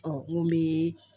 Ɔ n ye